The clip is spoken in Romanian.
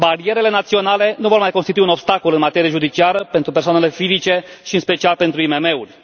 Barierele naționale nu vor mai constitui un obstacol în materie judiciară pentru persoanele fizice și în special pentru IMM uri.